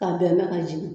Ka bɛn n'a ka jiginni ye